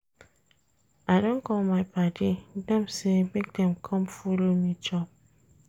I don call my paddy dem sey make dem com folo me chop.